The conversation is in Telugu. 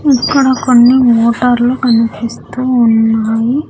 ఇక్కడ కొన్ని మోటార్లు కనిపిస్తూ ఉన్నాయి.